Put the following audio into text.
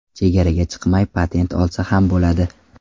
Chegaraga chiqmay patent olsa ham bo‘ladi.